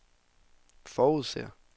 forudser